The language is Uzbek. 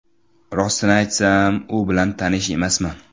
Rostini aytsam, u bilan tanish emasman.